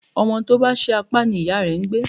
Ọmọ tó bá ṣí apá ni ìyá ń gbé.